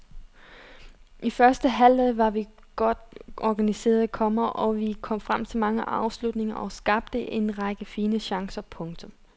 I første halvleg var vi godt organiseret, komma og vi kom frem til mange afslutninger og skabte en række fine chancer. punktum